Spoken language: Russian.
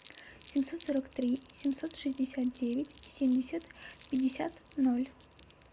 семьсот сорок три семьсот шестьдесят девять семьдесят пятьдесят ноль